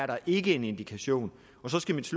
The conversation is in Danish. der ikke er en indikation så skal mit